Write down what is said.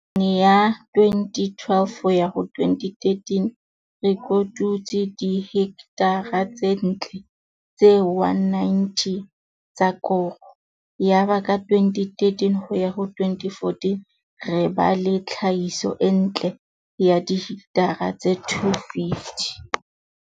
Nakong ya 2012-2013 re kotutse dihekthara tse ntle tse 190 tsa koro. Yaba ka 2013-2014 re ba le tlhahiso e ntle ya dihekthara tse 250.